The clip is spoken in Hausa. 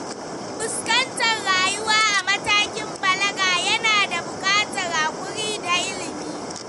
Fuskantar rayuwa a matakin balaga yana buƙatar haƙuri da ilimi.